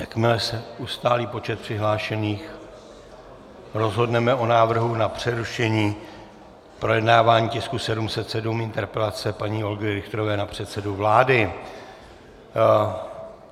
Jakmile se ustálí počet přihlášených, rozhodneme o návrhu na přerušení projednávání tisku 707, interpelace paní Olgy Richterové na předsedu vlády.